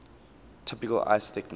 typical ice thickness